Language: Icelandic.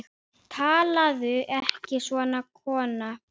Talaðu ekki svona, kona!